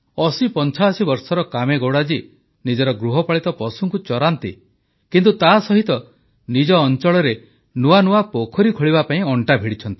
8085 ବର୍ଷର କାମେଗୌଡ଼ା ଜୀ ନିଜର ଗୃହପାଳିତ ପଶୁଙ୍କୁ ଚରାନ୍ତି କିନ୍ତୁ ତାସହିତ ନିଜ ଅଂଚଳରେ ନୂଆ ନୂଆ ପୋଖରୀ ଖୋଳିବା ପାଇଁ ଅଣ୍ଟା ଭିଡିଛନ୍ତି